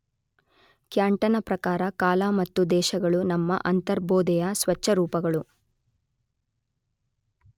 ಕ್ಯಾಂಟನ ಪ್ರಕಾರ ಕಾಲ ಮತ್ತು ದೇಶಗಳು ನಮ್ಮ ಅಂತರ್ಬೋಧೆಯ ಸ್ವಚ್ಛ ರೂಪಗಳು.